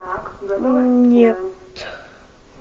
нет